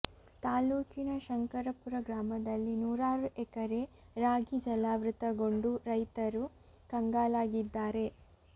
ತಾಲೂಕಿನ ಶಂಕರಾಪುರ ಗ್ರಾಮದಲ್ಲಿ ನೂರಾರು ಎಕರೆ ರಾಗಿ ಜಲಾವೃತಗೊಂಡು ರೈತರು ಕಂಗಾಲಾಗಿದ್ದಾರೆ